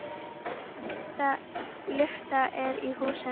Lyfta er í húsinu.